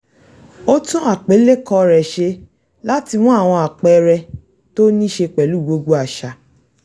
ó tún àpilẹ̀kọ rẹ̀ ṣe láti mú àwọn àpẹẹrẹ tó níṣe pẹ̀lú gbogbo àṣà